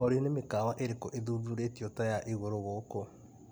Olĩ nĩ mĩkawa ĩrĩkũ ĩthuthurĩtio ta ya igũrũ gũkũ.